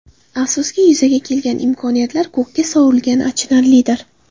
Afsuski, yuzaga kelgan imkoniyatlar ko‘kka sovurilgani achinarlidir.